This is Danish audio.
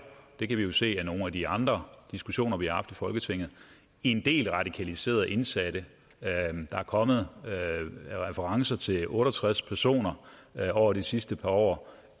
det kan vi jo se af nogle af de andre diskussioner vi har haft i folketinget en del radikaliserede indsatte der er kommet referencer til otte og tres personer over de sidste par år